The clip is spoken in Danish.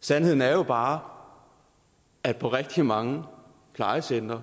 sandheden er jo bare at på rigtig mange plejecentre